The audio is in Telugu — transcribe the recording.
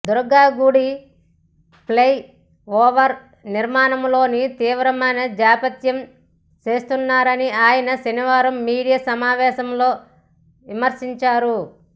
దుర్గగుడి ఫ్లై ఓవర్ నిర్మాణంలోనూ తీవ్రమైన జాప్యం చేస్తున్నారని ఆయన శనివారం మీడియా సమావేశంలో విమర్శించారు